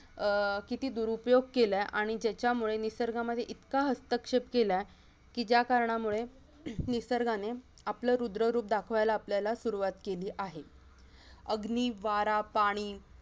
अह किती दुरुपयोग केलाय आणि त्याचामुळे निसर्गामध्ये इतका हस्तक्षेप केलाय की ज्या कारणामुळे निसर्गाने आपला रुद्ररूप दाखवायला आपल्याला सुरुवात केली आहे अग्नि, वारा, पाणी